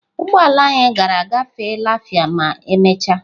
Ụgbọ ala anyị gara ga-agafe lafia ma emechaa.